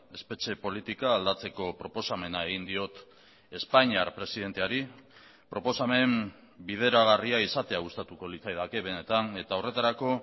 espetxe politika aldatzeko proposamena egin diot espainiar presidenteari proposamen bideragarria izatea gustatuko litzaidake benetan eta horretarako